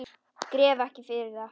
Gref ekki yfir það.